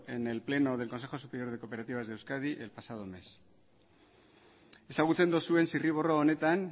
en el pleno del consejo superior de cooperativas de euskadi el pasado mes ezagutzen duzuen zirriborro honetan